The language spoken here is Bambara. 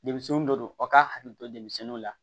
Denmisɛnninw de don aw k'a hakili to denmisɛnninw la